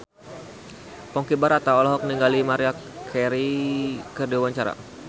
Ponky Brata olohok ningali Maria Carey keur diwawancara